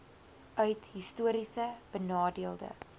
uit histories benadeelde